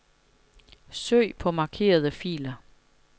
Søg på markerede filer.